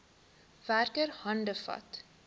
werker hande vat